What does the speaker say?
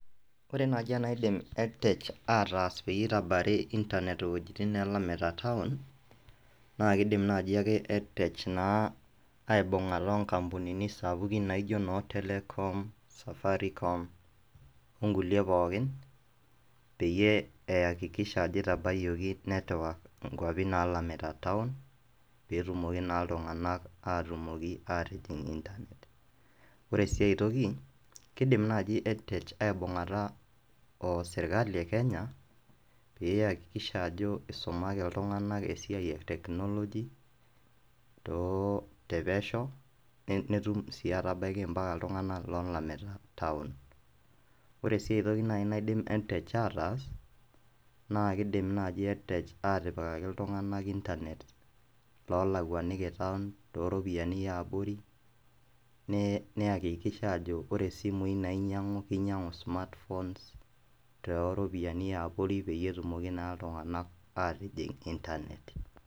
Ore naaji eneidim EdTech ataas pee itabairi intanet iweujitin naalamita town naa kiidim naai aka EdTech aibung'ata onkampunini sapukin naaijio noo Telkom, Safaricom onkulie pookin peyie iakikisha ajo itabaiyioki network nkuapi naalamita town pee etumoki naa iltung'anak atumoki aatijing' intanet, ore sii ai toki kiidim naai EdTech aibung'ata o sirkali e Kenya pee iakikisha ajo isumaki iltung'anak esiai e technology te pesho netum sii atabaiki mpaka iltung'anak loolamita town ore sii ai toki naidim naai EdTech ataas naa kiidim naai EdTech aatipikaki iltung'anak intanet loolakuaniki town tooropiyiani e abori niakikisha aajo ore isimuui nainying'u kinyiang'u smartpnones tooropiyiani e abori pee etumoki naa iltung'anak aatijing' intanet.